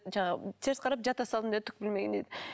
жаңағы теріс қарап жата салдым деді түк білмегендей